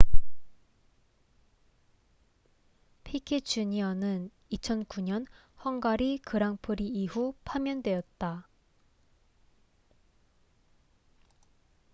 피케 주니어piquet jr.는 2009년 헝가리 그랑프리 이후 파면되었다